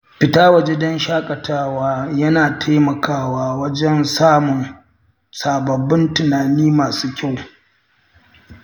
Fita waje don shaƙatawa yana taimakawa wajen samun sababbin tunani masu kyau.